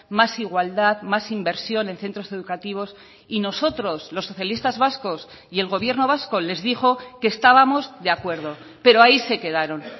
más igualdad más inversión en centros educativos y nosotros los socialistas vascos y el gobierno vasco les dijo que estábamos de acuerdo pero ahí se quedaron